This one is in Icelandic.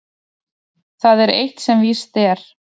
Það er eitt sem víst er.